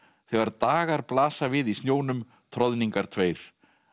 þegar dagar blasa við í snjónum troðningar tveir